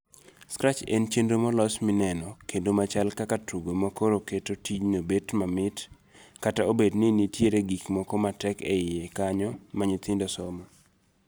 Scratch en chenro molos mineno kendo machal kaka tugo makoro keto tijno bet mamit kata obedo ninitie gik moko ma tek eiye kanyo ma nyithindo somo.